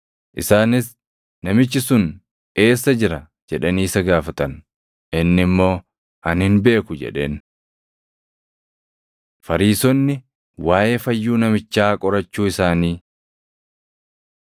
Isaanis, “Namichi sun eessa jira?” jedhanii isa gaafatan. Inni immoo, “Ani hin beeku” jedheen. Fariisonni Waaʼee Fayyuu Namichaa Qorachuu Isaanii